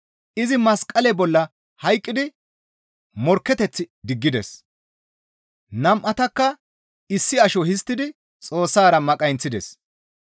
Izi masqale bolla hayqqidi morkketeth diggides; nam7atakka issi asho histtidi Xoossara maqayinththides.